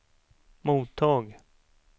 mottag